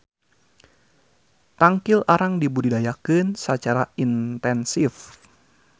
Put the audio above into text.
Tangkil arang dibudidayakeun sacara intensif.